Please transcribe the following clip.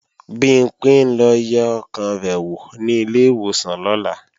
Bimpé ń lọ yẹ ọkàn rẹ̀ wò ní ilé ìwòsàn lọ́la